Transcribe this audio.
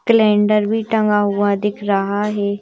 Calendar भी टंगा हुआ दिख रहा है।